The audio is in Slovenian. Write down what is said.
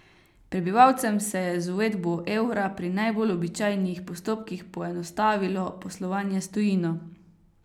Prebivalcem se je z uvedbo evra pri najbolj običajnih postopkih poenostavilo poslovanje s tujino.